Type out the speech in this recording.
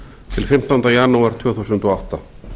til fimmtánda janúar tvö þúsund og átta